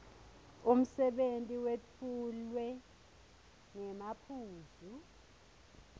umsebenti wetfulwe ngemaphuzu